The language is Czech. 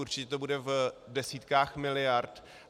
Určitě to bude v desítkách miliard.